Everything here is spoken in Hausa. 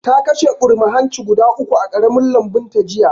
Ta kashe ɓurma hanci guda uku a ƙaramin lambunta jiya